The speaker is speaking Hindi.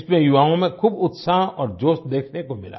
इसमें युवाओं में खूब उत्साह और जोश देखने को मिला